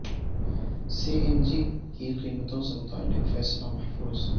سی N G کی قیمتوں سے متعلق فیصلہ محفوظ